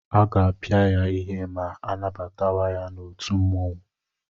Aga-apịa ya ihe ma anabatawa ya n'otu mmụọnwụ.